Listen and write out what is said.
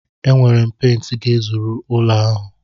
Enwere m pent ga-ezuru ụlọ ahụ.